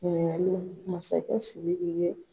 ɲininkali masakɛ sidiki ye